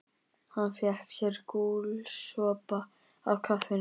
Hann fékk sér gúlsopa af kaffinu